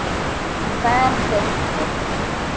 Þar þurfti